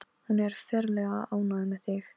Berið olíu á þann hluta líkamans sem á að nudda.